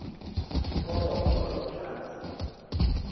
foromo hore o e tlatse